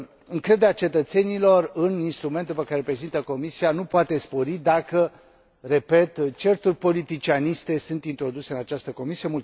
Încrederea cetățenilor în instrumentul pe care îl reprezintă comisia nu poate spori dacă, repet, certuri politicianiste sunt introduse în această comisie.